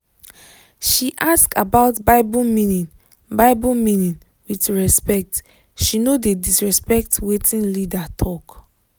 she ask about bible meaning bible meaning with respect she no dey disrespect wetin leader talk